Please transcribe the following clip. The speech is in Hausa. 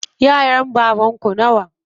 Yaran baban ku nawa?